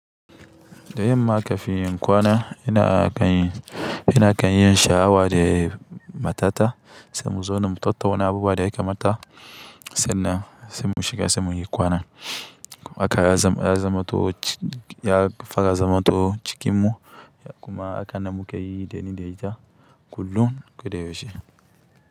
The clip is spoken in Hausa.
Da yamma ka fi yin kwana ina kan yi, ina kan yin shawara da matata sai mu zauna mu tattauna abubuwa da ya kamata sannan sai mu shiga sai muyi kwana. Haka ya zama, ya zamto ya fara zamto cikinmu kuma hakan nan muke yi da ni da ita kullum ko da yaushe.